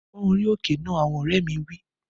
Pón orí òkè náà! Àwọn ọ̀rẹ́ mi wí